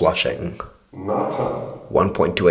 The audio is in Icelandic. Natan